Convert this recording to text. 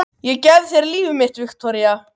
Ég gef þér líf mitt, Viktoría.